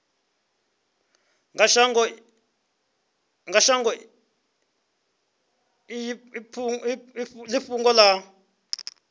kha shango i fhungo i